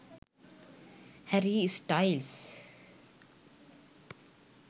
harry styles